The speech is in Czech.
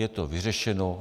Je to vyřešeno.